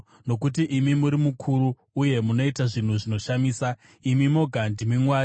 Nokuti imi muri mukuru uye munoita zvinhu zvinoshamisa; imi moga ndimi Mwari.